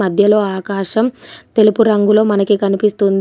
మధ్యలో ఆకాశం తెలుపు రంగులో మనకి కనిపిస్తుంది.